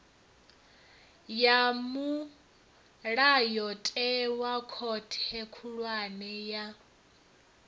ya mulayotewa khothe khulwane ya